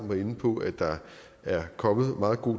var inde på at der er kommet meget god